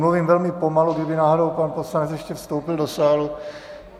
Mluvím velmi pomalu, kdyby náhodou pan poslanec ještě vstoupil do sálu.